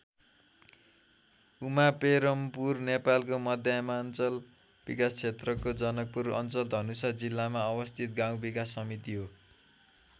उमापेरमपुर नेपालको मध्यमाञ्चल विकास क्षेत्रको जनकपुर अञ्चल धनुषा जिल्लामा अवस्थित गाउँ विकास समिति हो।